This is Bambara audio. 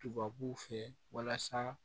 Tubabuw fɛ walasa